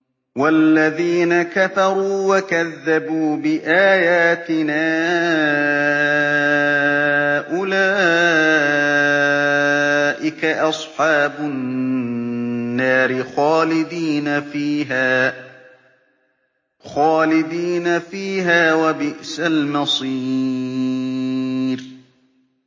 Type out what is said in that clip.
وَالَّذِينَ كَفَرُوا وَكَذَّبُوا بِآيَاتِنَا أُولَٰئِكَ أَصْحَابُ النَّارِ خَالِدِينَ فِيهَا ۖ وَبِئْسَ الْمَصِيرُ